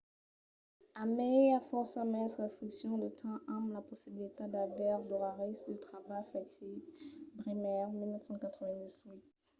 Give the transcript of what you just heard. a mai i a fòrça mens restriccions de temps amb la possibilitat d'aver d'oraris de trabalh flexibles. bremer 1998